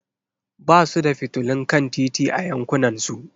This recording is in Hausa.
Ba su da fitilun kan titi a yankunansu.